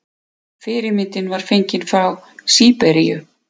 Fyrirmyndin var fengin frá Síberíu.